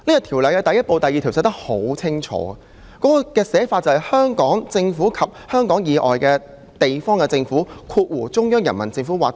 《條例》的第1部第2條清楚訂明："香港政府及香港以外地方的政府"。